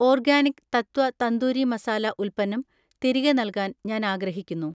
organic തത്വ തന്തൂരി മസാല ഉൽപ്പന്നം തിരികെ നൽകാൻ ഞാൻ ആഗ്രഹിക്കുന്നു